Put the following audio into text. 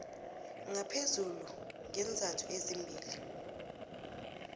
ngaphezulu ngeenzathu ezimbili